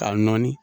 K'a nɔɔni